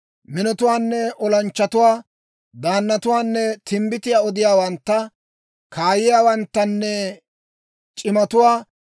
minotuwaanne olanchchatuwaa, daannatuwaanne timbbitiyaa odiyaawantta, kaayiyaawanttanne c'imatuwaa,